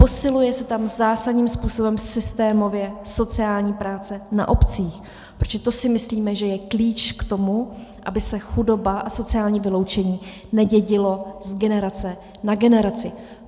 Posiluje se tam zásadním způsobem systémově sociální práce na obcích, protože to si myslíme, že je klíč k tomu, aby se chudoba a sociální vyloučení nedědilo z generace na generaci.